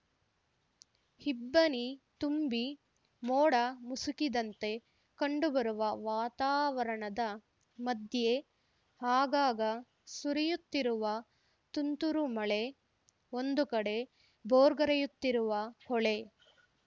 ಇಬ್ಬನಿ ತುಂಬಿ ಮೋಡ ಮುಸುಕಿದಂತೆ ಕಂಡುಬರುವ ವಾತಾವರಣದ ಮಧ್ಯೆ ಆಗಾಗ ಸುರಿಯುತ್ತಿರುವ ತುಂತುರು ಮಳೆ ಒಂದು ಕಡೆ ಭೋರ್ಗರೆಯುತ್ತಿರುವ ಹೊಳೆ